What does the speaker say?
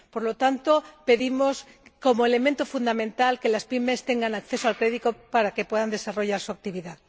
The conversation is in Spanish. Por lo tanto, pedimos como elemento fundamental que las PYME tengan acceso al crédito para que puedan desarrollar su actividad.